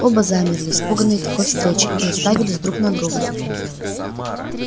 оба замерли испуганные такой встречей и уставились друг на друга